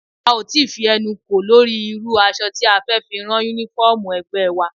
A ò tí ì fi ẹnu kò lórí irú aṣọ tí a fẹ́ fi rán Únífọ́ọ̀mù ẹgbẹ́ wa